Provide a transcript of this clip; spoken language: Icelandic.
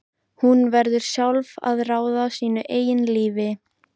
Hún verður sjálf að ráða sínu eigin lífi.